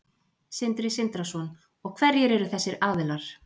Sindri Sindrason: Og hverjir eru þessir aðilar?